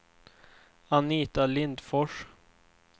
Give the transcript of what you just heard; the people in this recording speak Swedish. Anita Lindfors